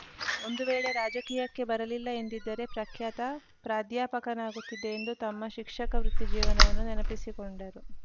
ಒಂದು ವೇಳೆ ರಾಜಕೀಯಕ್ಕೆ ಬರಲಿಲ್ಲ ಎಂದಿದ್ದರೆ ಪ್ರಖ್ಯಾತ ಪ್ರಾಧ್ಯಾಪಕನಾಗುತ್ತಿದೆ ಎಂದು ತಮ್ಮ ಶಿಕ್ಷಕ ವೃತ್ತಿ ಜೀವನವನ್ನು ನೆನಪಿಸಿಕೊಂಡರು